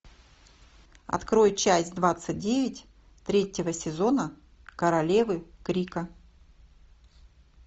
открой часть двадцать девять третьего сезона королевы крика